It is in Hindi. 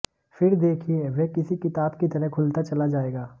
फिर देखिए वह किसी किताब की तरह खुलता चला जाएगा